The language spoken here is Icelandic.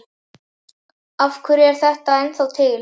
Af hverju er þetta ennþá til?